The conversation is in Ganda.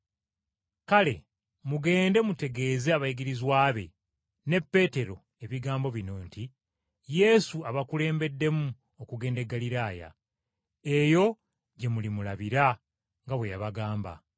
Kale mugende mutegeeze abayigirizwa be, ne Peetero, ebigambo bino nti, ‘Yesu abakulembeddemu okugenda e Ggaliraaya. Eyo gye mulimulabira nga bwe yabagamba.’ ”